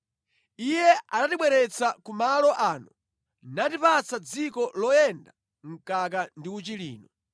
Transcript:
Iye anatibweretsa ku malo ano natipatsa dziko loyenda mkaka ndi uchi lino.